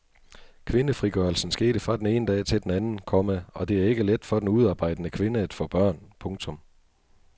Kvindefrigørelsen skete fra den ene dag til den anden, komma og det er ikke let for den udearbejdende kvinde at få børn. punktum